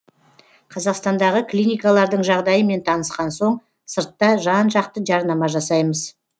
қазақстандағы клиникалардың жағдайымен танысқан соң сыртта жан жақты жарнама жасаймыз